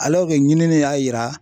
ɲinini y'a yira